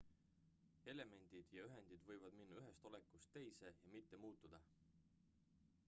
elemendid ja ühendid võivad minna ühest olekust teise ja mitte muutuda